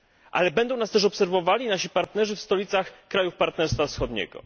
Ale będą nas też obserwowali nasi partnerzy w stolicach krajów Partnerstwa Wschodniego.